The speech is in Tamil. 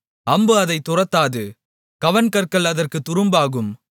அம்பு அதைத் துரத்தாது கவண்கற்கள் அதற்குத் துரும்பாகும்